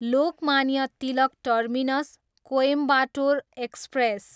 Lokmanya Tilak Terminus, Coimbatore express